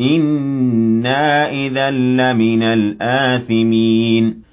إِنَّا إِذًا لَّمِنَ الْآثِمِينَ